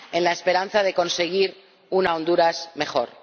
En la esperanza de conseguir una Honduras mejor.